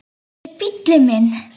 Þetta er bíllinn minn